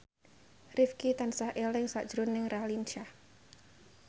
Rifqi tansah eling sakjroning Raline Shah